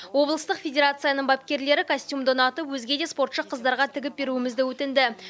облыстық федерацияның бапкерлері костюмді ұнатып өзге де спортшы қыздарға тігіп беруімізді өтінді